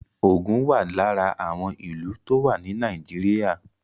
Ògùn wà lára àwọn ìlú tó wà ní Nàìjíríà